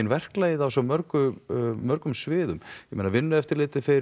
verklagið á svo mörgum mörgum sviðum ég meina vinnueftirlitið fer